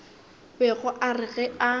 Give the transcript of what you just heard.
bego a re ge a